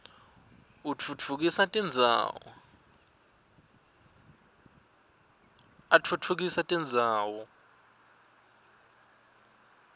atfutfukisa tindzawo